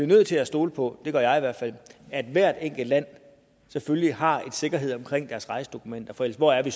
nødt til at stole på det gør jeg i hvert fald at hvert enkelt land selvfølgelig har en sikkerhed omkring deres rejsedokumenter for hvor er vi